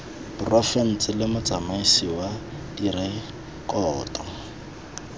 porofense le motsamaisi wa direkoto